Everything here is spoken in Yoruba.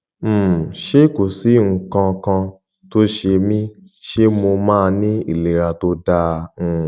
um ṣé kò sí nǹkan kan tó ń ṣe mí ṣé mo máa ní ìlera tó dáa um